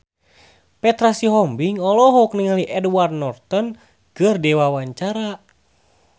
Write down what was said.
Petra Sihombing olohok ningali Edward Norton keur diwawancara